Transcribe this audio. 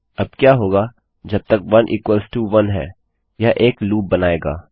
अब क्या होगा जब तक 11 यह एक लूप बनाएगा